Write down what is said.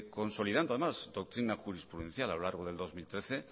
consolidando además doctrina jurisprudencial a lo largo del dos mil trece